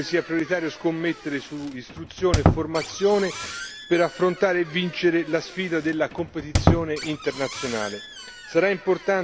Tra queste, ritengo che sia prioritario scommettere su istruzione e formazione per affrontare e vincere la sfida della competizione internazionale.